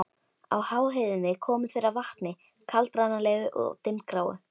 Á háheiðinni komu þeir að vatni, kaldranalegu og dimmgráu.